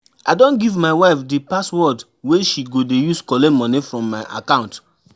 I don give my wife di password wey she go dey use collect moni from my account.